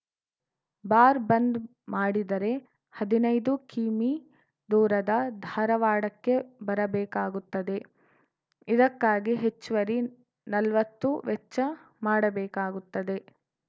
bar bandh ಮಾಡಿದರೆ ಹದಿನೈದು ಕಿಮೀ ದೂರದ ಧಾರವಾಡಕ್ಕೆ ಬರಬೇಕಾಗುತ್ತದೆ ಇದಕ್ಕಾಗಿ ಹೆಚ್ಚುವರಿ ನಲ್ವತ್ತು ವೆಚ್ಚ ಮಾಡಬೇಕಾಗುತ್ತದೆ